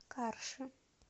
карши